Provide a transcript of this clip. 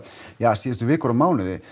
síðustu vikur og mánuði